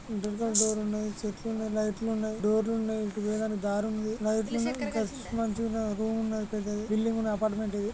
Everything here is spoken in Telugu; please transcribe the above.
ఎదురుగా గోడున్నది చెట్లు ఉన్నాయి.లైట్ ట్లు ఉన్నాయి. డోర్ ర్లు ఉన్నాయి. ఇటు ఇవ్వడానికి దారి ఉంది లైట్ ట్లు ఉన్నాయి.దిం సాకర్ మంచిగ ఉన్నది రూమ్ ఉన్నది. పెద్దది బిల్లింగ్ ఉన్నది.అపార్ట్మెంట్ ఇది.